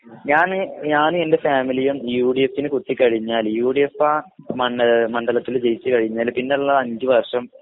ഞാന് ഞാൻ എൻ്റെ ഫാമിലിയും യുഡിഎഫിന്കുത്തികഴിഞ്ഞാല് യുഡിഎഫ് ആ മണ്ഡ മണ്ഡലത്തില് ജയിച്ചു കഴിഞ്ഞാല് പിന്നുള്ള അഞ്ചുവർഷം